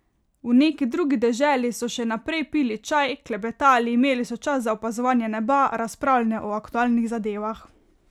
V neki drugi deželi so še naprej pili čaj, klepetali, imeli so čas za opazovanje neba, razpravljanje o aktualnih zadevah.